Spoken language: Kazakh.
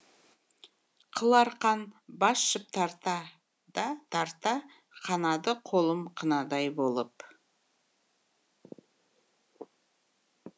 қыл арқан бас жіп тарта да тарта қанады қолым қынадай болып